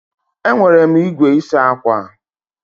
Enwere m igwe isa akwa.